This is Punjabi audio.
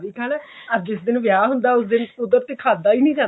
ਵੀ ਖਾਣਾ ਅਰ ਜਿਸ ਦਿਨ ਵਿਆਹ ਹੁੰਦਾ ਉਸ ਦਿਨ ਕੁਦਰਤੀ ਖਾਧਾ ਹੀ ਨਹੀਂ ਜਾਂਦਾ